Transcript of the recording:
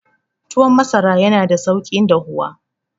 Tuwon masara yana da sauki dahuwa.